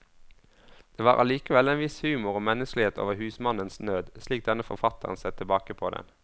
Det var allikevel en viss humor og menneskelighet over husmannens nød, slik denne forfatteren ser tilbake på den.